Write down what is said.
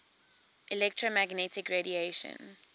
electromagnetic radiation